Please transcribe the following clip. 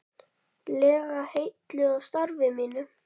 lega heilluð af starfi mínu.